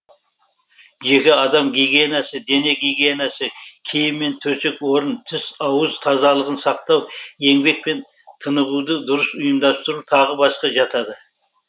жеке адам гигиенасы дене гигиенасы киім мен төсек орын тіс ауыз тазалығын сақтау еңбек пен тынығуды дұрыс ұйымдастыру тағы басқа жатады